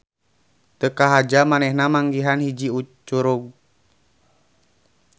Teu kahaja manehna manggihan hiji curug.